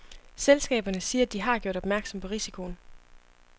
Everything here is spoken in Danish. Selskaberne siger, at de har gjort opmærksom på risikoen.